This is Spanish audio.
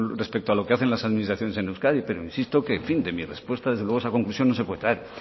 respecto a lo que hacen las administraciones en euskadi pero insisto que en fin de mi respuesta desde luego esa conclusión no se puede traer